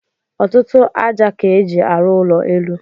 Ọtụtụ aja ka eji aru ụlọ élú.